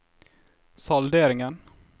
salderingen